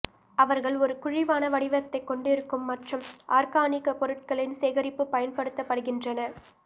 அவர்கள் ஒரு குழிவான வடிவத்தை கொண்டிருக்கும் மற்றும் ஆர்கானிக் பொருட்களின் சேகரிப்பு பயன்படுத்தப்படுகின்றன